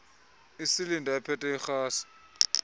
isilinda ephethe irhasi